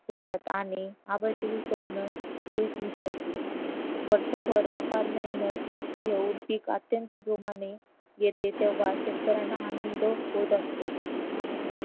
होतात आणि अबांचेही स्वप्न धुळीत मिसळते वर्षभर अपार मेहनत घेऊन पीक अत्यंत जोमाने येते तेव्हा शेतकऱ्यांना आनंद होत असतो आणि